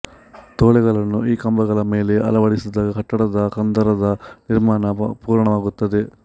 ತೊಲೆಗಳನ್ನು ಈ ಕಂಬಗಳ ಮೇಲೆ ಅಳವಡಿಸಿದಾಗ ಕಟ್ಟಡದ ಹಂದರದ ನಿರ್ಮಾಣ ಪುರ್ಣವಾಗುತ್ತದೆ